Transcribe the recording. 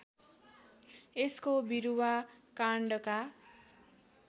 यसको बिरुवा काण्डका